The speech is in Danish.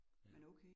Ja